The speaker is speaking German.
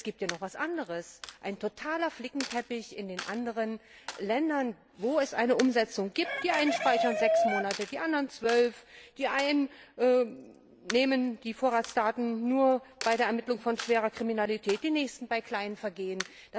Es gibt noch etwas anderes einen totalen Flickenteppich in den anderen Ländern, in denen es eine Umsetzung gibt Die einen speichern sechs Monate, die anderen zwölf die einen nehmen die Vorratsdaten nur bei der Ermittlung in Fällen schwerer Kriminalität, die nächsten bei kleinen Vergehen.